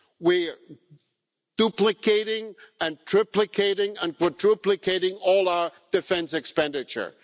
We're duplicating, triplicating and quadruplicating all our defence expenditure.